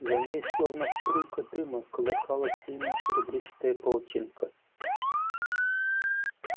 за ней словно струйка дыма колыхалась длинная серебристая паутинка